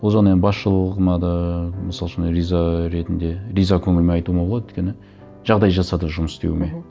ол жағына енді басшылығыма да мысал үшін риза ретінде риза көңілмен айтуыма болады өйткені жағдай жасады жұмыс істеуіме мхм